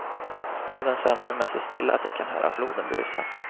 Stadens centrum är så stilla att jag kan höra floden brusa.